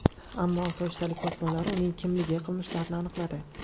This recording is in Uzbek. Ammo osoyishtalik posbonlari uning kimligi, qilmishlarini aniqladi.